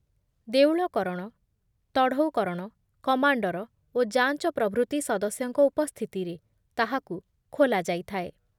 ଦେଉଳ କରଣ, ତଢ଼ଉକରଣ, କମାଣ୍ଡର ଓ ଯାଞ୍ଚ ପ୍ରଭୃତି ସଦସ ଦସ୍ୟଙ୍କ ଉପସ୍ଥିତିରେ ତାହାକୁ ଖୋଲାଯାଇଥାଏ ।